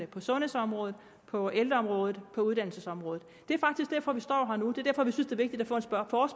på sundhedsområdet på ældreområdet på uddannelsesområdet det er faktisk derfor vi står her nu